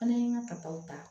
Fana ye n ka taw ta